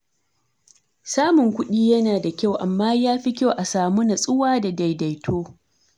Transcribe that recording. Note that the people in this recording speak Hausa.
Samun kuɗi yana da kyau, amma yafi kyau a samu natsuwa da daidaito.